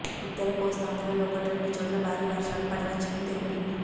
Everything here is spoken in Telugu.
ఉత్తర కోస్తాంద్రలో ఒకటి రెండు చోట్ల భారీ వర్షాలు పడవచ్చని తెలిపింది